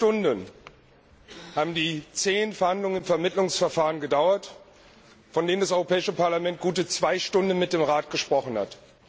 17 Stunden haben die zähen Verhandlungen im Vermittlungsverfahren gedauert, von denen das Europäische Parlament gute zwei Stunden mit dem Rat gesprochen hat.